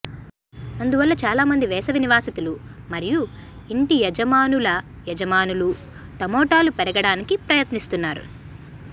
అందువల్ల చాలామంది వేసవి నివాసితులు మరియు ఇంటి యజమానుల యజమానులు టమోటాలు పెరగడానికి ప్రయత్నిస్తున్నారు